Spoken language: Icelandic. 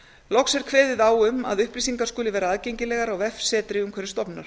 loks er kveðið á um að upplýsingar skuli vera aðgengilegar á vefsetri umhverfisstofnunar